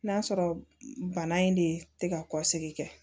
N'a sɔrɔ bana in de tɛ ka kɔsigi kɛ